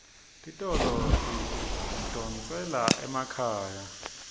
titolo tidondzela emakhaya